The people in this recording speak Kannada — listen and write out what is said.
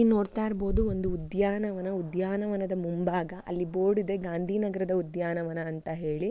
ಇಲ್ಲಿ ನೋಡ್ತಾ ಇರಬಹುದು ಒಂದು ಉದ್ಯಾನವನ ಉದ್ಯಾನವನದ ಮುಂಭಾಗ ಅಲ್ಲಿ ಬೋರ್ಡ್ ಇದೆ ಗಾಂಧಿ ನಗರದ ಉದ್ಯಾನವನ ಅಂತ ಹೇಳಿ.